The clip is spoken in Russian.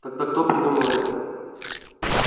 тогда кто придумал это